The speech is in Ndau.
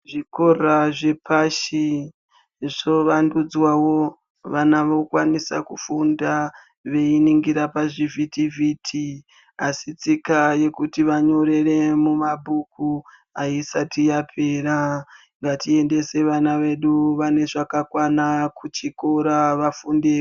Zvikora zvepashi, zvovandudzwawo vana vokwanisa kufunda veyiningira pazvivhiti-vhiti asi tsika yekuti vanyorere mumabhuku ayisati yapera, ngatiendese vana vedu vane zvakakwana kuchikora vafunde.